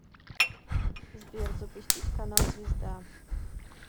сбер запустить канал звезда